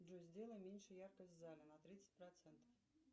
джой сделай меньше яркость в зале на тридцать процентов